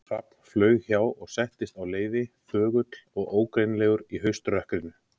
Hrafn flaug hjá og settist á leiði, þögull og ógreinilegur í hauströkkrinu.